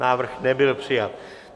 Návrh nebyl přijat.